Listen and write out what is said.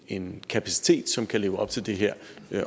en kapacitet som kan leve op til det her